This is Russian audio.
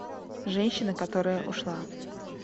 женщина которая ушла